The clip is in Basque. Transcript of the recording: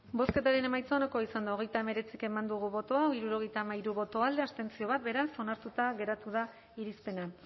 bozketaren emaitza onako izan da hogeita hemeretzi eman dugu bozka hirurogeita hamairu boto alde bat abstentzio beraz onartuta geratu da irizpena